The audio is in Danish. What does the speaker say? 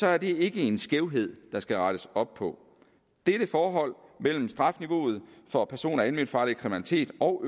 er det ikke en skævhed der skal rettes op på dette forhold mellem strafniveauet for person og alment farlig kriminalitet og